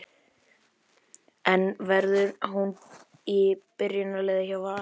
En verður hún í byrjunarliði hjá Val?